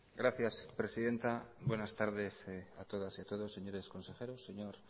gracias presidenta buenas tardes a todas y a todos señores consejeros señor